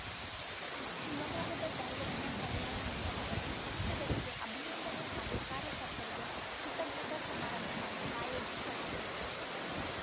ಶಿವಮೊಗ್ಗದ ದೈವಜ್ಞ ಕಲ್ಯಾಣ ಮಂಟಪದಲ್ಲಿ ಸಂಸದರಿಗೆ ಅಭಿನಂದನೆ ಹಾಗೂ ಕಾರ್ಯಕರ್ತರಿಗೆ ಕೃತಜ್ಞತಾ ಸಮಾರಂಭವನ್ನು ಆಯೋಜಿಸಲಾಗಿತ್ತು